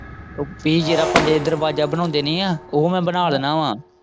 ਉਹ ਕੀ ਜਿਹੜਾ ਪੱਲੇ ਦਰਵਾਜਾ ਬਣਾਉਂਦੇ ਨਹੀਂ ਹੈ ਉਹ ਮੈਂ ਬਣਾ ਲੈਣਾ ਹੈ।